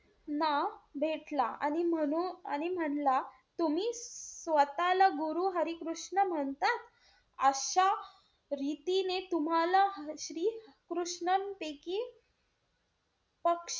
नाव भेटला. आणि म्हणू~ आणि म्हणला तुम्ही स्वतः ला गुरु हरी कृष्ण म्हणता? अशा रितीने तुम्हाला श्री कृष्णन प,